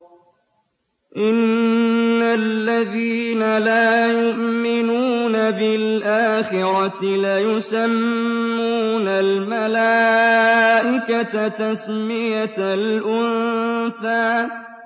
إِنَّ الَّذِينَ لَا يُؤْمِنُونَ بِالْآخِرَةِ لَيُسَمُّونَ الْمَلَائِكَةَ تَسْمِيَةَ الْأُنثَىٰ